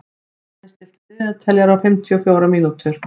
Danni, stilltu niðurteljara á fimmtíu og fjórar mínútur.